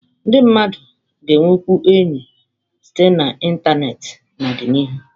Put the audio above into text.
Ndị mmadụ ga-enwekwu enyi site na ịntanetị n'ọdịnihu